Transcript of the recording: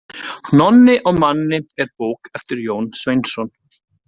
Nonni og Manni er bók eftir Jón Sveinsson.